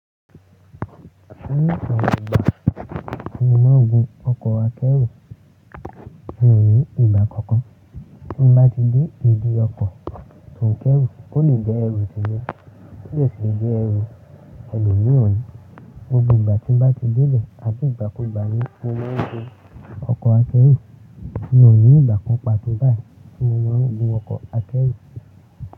Ní ọ̀pọ̀ ìgbà ní mo má ń gún ọkọ̀ akẹ́rù, mi ò ní ìgbà kankan tí mo bá ti dé ìdí ọkọ̀ tò n kẹ́rù kó lè jẹ́ ẹrú ti mi. Ó lè sì lè jẹ́ ẹrú ẹlòmíràn ní. Gbogbo ìgbà tí ń bá ti débẹ̀ àbí ìgbàkúgbà ní mo má ń gún ọkọ̀ akẹ́rù, mi ò ní ìgbà kan pàtó báyìí tí mo má ń gún ọkọ̀ akẹ́rù.